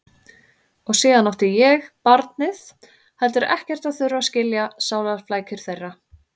Og síðan átti ég, barnið, heldur ekkert að þurfa að skilja sálarflækjur þeirra.